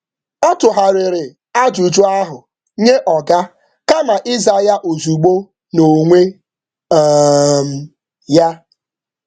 Ọ tụgharịrị ajụjụ ahụ nye ajụjụ ahụ nye oga kama um ịza ya ozugbo n’onwe um ya.